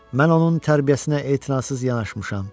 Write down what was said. Mən onun tərbiyəsinə etinasız yanaşmışam.